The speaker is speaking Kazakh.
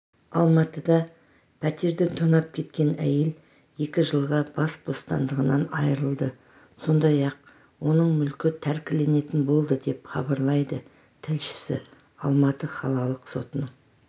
алматыда пәтерді тонап кеткен әйел екі жылға бас бостандығынан айырылды сондай-ақ оның мүлкі тәркіленетін болды деп хабарлайды тілшісі алматы қалалық сотының